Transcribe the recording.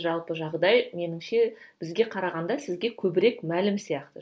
жалпы жағдай меніңше бізге қарағанда сізге көбірек мәлім сияқты